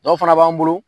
Dɔw fana b'an bolo